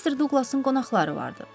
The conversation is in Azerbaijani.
Mister Duqlasın qonaqları vardı.